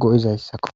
go'izayssakko.